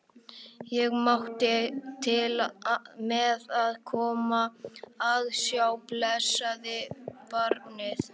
Ég mátti til með að koma að sjá blessað barnið.